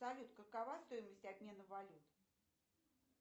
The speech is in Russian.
салют какова стоимость обмена валют